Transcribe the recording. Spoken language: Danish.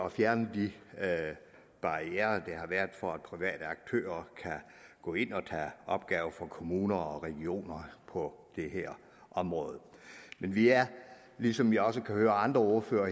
at fjerne de barrierer der har været for at private aktører kan gå ind og tage opgaver for kommuner og regioner på det her område men vi er ligesom vi også kan høre at andre ordførere